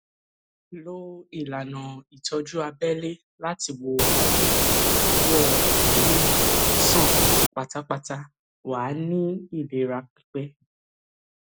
lo ìlànà ìtọjú abẹlé láti wo àìsàn ìdíwọ èémí sàn pátápátá wà ní ìlera pípé